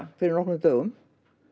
fyrir nokkrum dögum